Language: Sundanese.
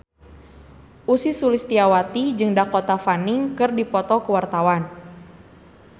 Ussy Sulistyawati jeung Dakota Fanning keur dipoto ku wartawan